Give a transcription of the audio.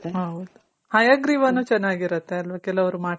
ಹೌದು ಹಯಗ್ರೀವನು ಚೆನಾಗಿರುತ್ತೆ ಅಲ್ವ.ಕೆಲವ್ರು ಮಾಡ್ತಾರೆ.